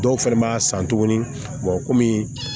Dɔw fɛnɛ b'a san tuguni kɔmi